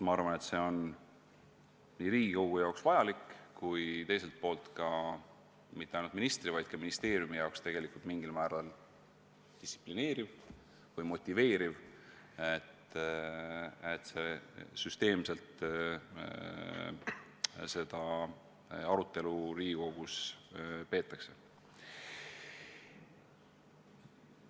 Ma arvan, et see on Riigikogu jaoks vajalik, ja teiselt poolt mitte ainult ministri, vaid ka ministeeriumi jaoks mingil määral distsiplineeriv või motiveeriv, kui seda arutelu Riigikogus süsteemselt peetakse.